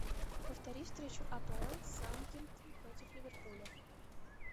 повтори встречу апл саутгемптон против ливерпуля